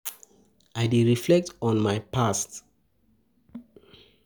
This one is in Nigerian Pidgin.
I dey reflect on my past actions, make I learn from my mistakes.